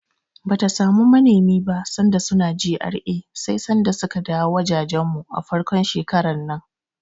Bata samu manemi ba sanda suna GRA sai sanda suka dawo wajejen mu, a farkon shekarar nan.